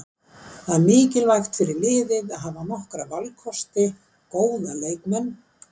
Það er mikilvægt fyrir liðið að hafa nokkra valkosti, góða leikmenn.